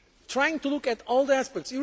trying to look at all the aspects.